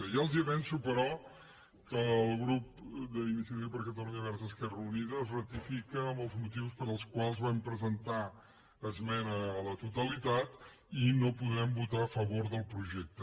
ja els avanço però que el grup d’iniciativa per cata·lunya verds · esquerra unida es ratifica en els motius pels quals vam presentar esmena a la totalitat i no po·drem votar a favor del projecte